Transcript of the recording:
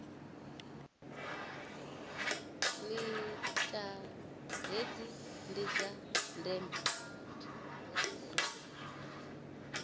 nila hedzi ndi dza ndeme